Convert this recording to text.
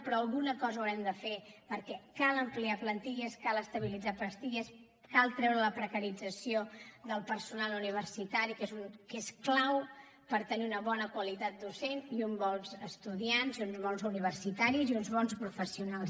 però alguna cosa haurem de fer perquè cal ampliar plantilles cal estabilitzar plantilles cal treure la precarització del personal universitari que és clau per tenir una bona qualitat docent i uns bons estudiants i uns bons universitaris i uns bons professionals